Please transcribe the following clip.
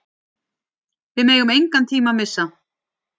Við megum engan tíma missa.